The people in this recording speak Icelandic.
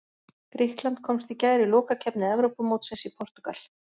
Grikkland komst í gær í lokakeppni Evrópumótsins í Portúgal.